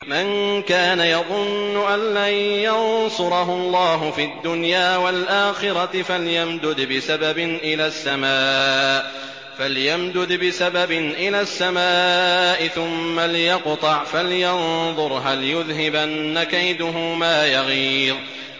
مَن كَانَ يَظُنُّ أَن لَّن يَنصُرَهُ اللَّهُ فِي الدُّنْيَا وَالْآخِرَةِ فَلْيَمْدُدْ بِسَبَبٍ إِلَى السَّمَاءِ ثُمَّ لْيَقْطَعْ فَلْيَنظُرْ هَلْ يُذْهِبَنَّ كَيْدُهُ مَا يَغِيظُ